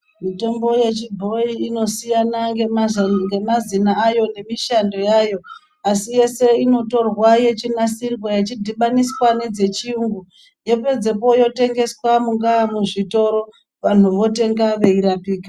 Mitombo yechibhoyi inosiyana ngemazina ayo nemishando yayo. Asi yese inotorwa yechinasirwa yeidhibaniswa nedzechiyungu. Yopedzepo yotengeswa mungaa muzvitoro, vantu votenga veirapika.